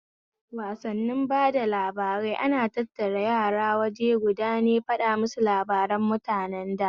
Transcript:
Wassani bada labarai ana tattara yara awaje guda ne faɗamusu labaran mutanen da